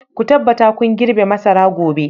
Ku tabbata kun girbe masara gobe!